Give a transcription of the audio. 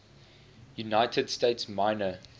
united states minor